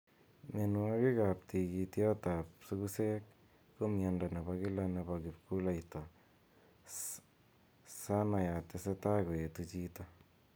mianwokik ap tigityot ap sugusek �ko miando nebo kila nebo kipkuleita sana ya tese tai koetu chito